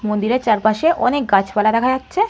মন্দিরের চারপাশে অনেক গাছপালা দেখা যাচ্ছে।